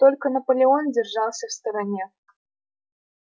только наполеон держался в стороне